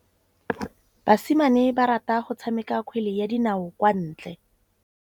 Basimane ba rata go tshameka kgwele ya dinaô kwa ntle.